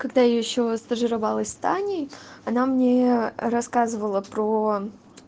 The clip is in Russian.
когда я ещё стажировалась с таней она мне рассказывала про